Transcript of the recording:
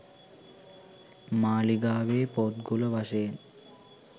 මාලිගාවේ පොත්ගුල වශයෙන්